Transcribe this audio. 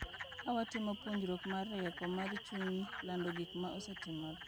Ka watimo puonjruok mar rieko mar chuny, lando gik ma osetimore,